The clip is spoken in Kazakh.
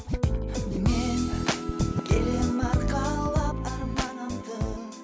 мен келемін арқалап арманымды